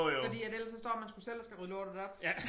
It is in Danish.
Fordi at ellers så står man sgu selv og skal rydde lortet op